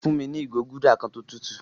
Fún mi ni igo gúldà kan tó tùtù